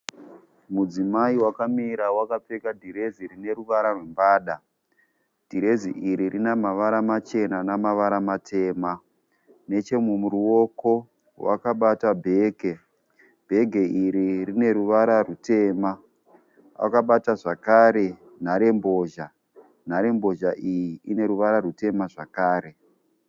Mudzimai wakamira wakapfeka dhirezi rine ruvara rwembada, dhirezi iri rina mavara machena namavara matema nechemuruoko wakabata bheke, bhege iri rine ruvara rutema akabata zvakare nhare mbozha, nhare mbozha iyi ine ruvara rutema zvakare.